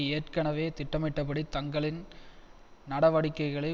ஏற்கனவே திட்டமிட்டபடி தங்களின் நடவடிக்கைகளை